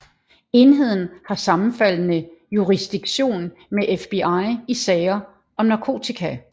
Enheden har sammenfaldende jurisdiktion med FBI i sager om narkotika